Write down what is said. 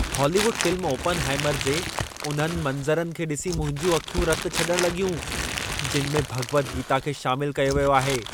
Hollywood film "Oppenheimer" जे उन्हनि मंज़रनि खे ॾिसी मुंहिंजूं अखियूं रत छॾण लॻियूं, जिन में भगि॒वत गीता खे शामिल कयो वियो आहे।